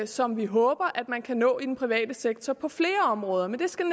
som vi håber at man kan nå i den private sektor på flere områder men det skal